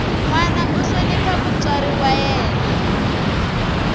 nwana a hlonipha mutswari wa yena